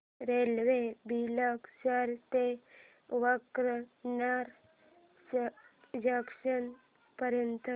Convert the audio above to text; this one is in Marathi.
रेल्वे बिलेश्वर ते वांकानेर जंक्शन पर्यंत